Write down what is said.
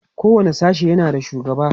kowani sashe yana da shugaba